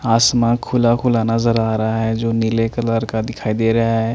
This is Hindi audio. आसमान खुला खुला नज़र आ रहा है जो नीले कलर का दिखाई दे रहा है।